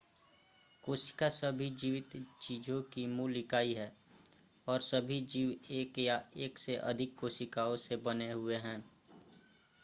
कोशिका सभी जीवित चीजों की मूल इकाई है और सभी जीव एक या एक से अधिक कोशिकाओं से बने हुए हैं